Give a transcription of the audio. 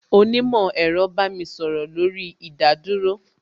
Onímò ẹ̀rọ bá mi sọ̀rọ̀ lórí ìdádúró